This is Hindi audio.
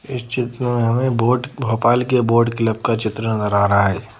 इस चित्र में हमें बोर्ड भोपाल के बोर्ड क्लब का चित्र नजर आ रहा हैं।